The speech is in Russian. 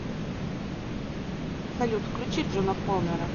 салют включи джона коннора